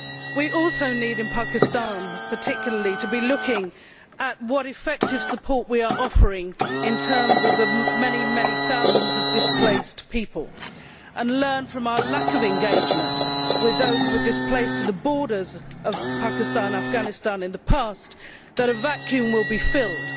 We also need, in Pakistan particularly, to be looking at what effective support we are offering in terms of the many thousands of displaced people, and learn from our lack of engagement with those who were displaced to the borders of Pakistan and Afghanistan in the past that a vacuum will be filled.